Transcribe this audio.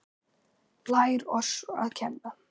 Lær oss að kenna